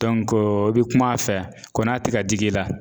i bɛ kum'a fɛ, kɔni n'a tɛ ka dig'i la .